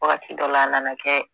Wagati dɔ la a nana kɛ